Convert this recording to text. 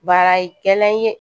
Baarakɛla ye